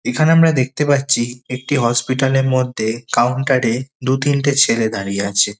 এখানে আমরা দেখতে পাচ্ছি একটি হসপিটাল -এর মধ্যে কাউন্টার -এ দু-তিনটে ছেলে দাঁড়িয়ে আছে।